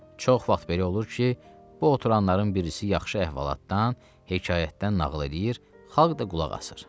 Çox vaxt belə olur ki, bu oturanların birisi yaxşı əhvalatdan, hekayətdən nağıl eləyir, xalq da qulaq asır.